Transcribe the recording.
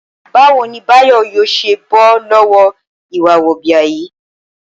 Báwo ni Báyò̩ yóò s̩e bó̩ ló̩wó̩ ìwà wò̩bìà yìí?